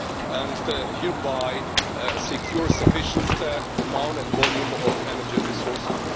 and thereby secure a sufficient amount and volume of energy resources.